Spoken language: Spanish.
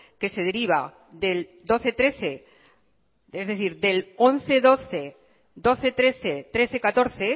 que se deriva del doce trece es decir del once doce doce trece trece catorce